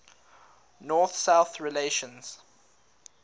north south relations